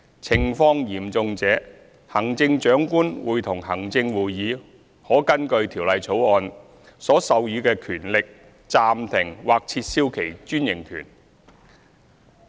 情況嚴重者，行政長官會同行政會議可根據《條例草案》所授予的權力暫停或撤銷其專營權。